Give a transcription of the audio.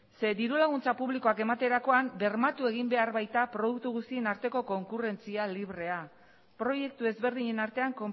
ze diru laguntza publikoak ematerakoan bermatu egin behar baita produktu guztien arteko konkurrentzia librea proiektu ezberdinen artean